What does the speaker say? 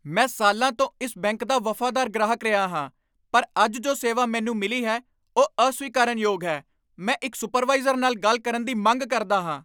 ਮੈਂ ਸਾਲਾਂ ਤੋਂ ਇਸ ਬੈਂਕ ਦਾ ਵਫ਼ਾਦਾਰ ਗ੍ਰਾਹਕ ਰਿਹਾ ਹਾਂ, ਪਰ ਅੱਜ ਜੋ ਸੇਵਾ ਮੈਨੂੰ ਮਿਲੀ ਹੈ, ਉਹ ਅਸਵੀਕਾਰਨਯੋਗ ਹੈ। ਮੈਂ ਇੱਕ ਸੁਪਰਵਾਈਜ਼ਰ ਨਾਲ ਗੱਲ ਕਰਨ ਦੀ ਮੰਗ ਕਰਦਾ ਹਾਂ!